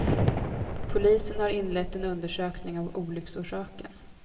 Polisen har inlett en undersökning av olycksorsaken.